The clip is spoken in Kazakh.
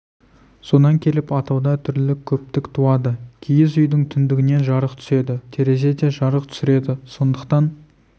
содан келіп атауда түрлілік көптік туады киіз үйдің түндігінен жарық түседі терезе де жарық түсіреді сондықтан